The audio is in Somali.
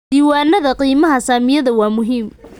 Diiwaanada qiimaha saamiyada waa muhiim.